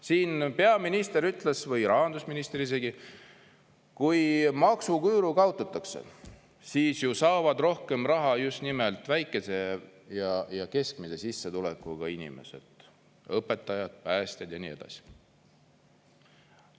Siin peaminister ütles, või rahandusminister isegi, kui maksuküüru kaotatakse, siis ju saavad rohkem raha just nimelt väikese ja keskmise sissetulekuga inimesed, õpetajad, päästjad ja nii edasi.